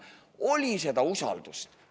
Oli seda usaldust.